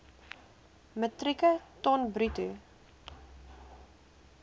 metrieke ton bruto